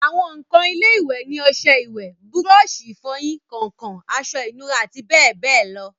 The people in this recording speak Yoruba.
àwọn ǹkan ilé-ìwẹ̀ ni ọsẹ ìwẹ̀, búrọ̀sì ìfọyín, kàǹkàn, aṣọ ìnura àti bẹ́ẹ̀bẹ́ẹ̀ lọ